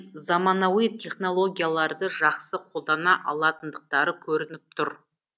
заманауи технологияларды жақсы қолдана алатындықтары көрініп тұр